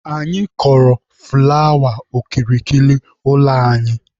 Anyị kọrọ fụlawa okirikiri ụlọ anyị.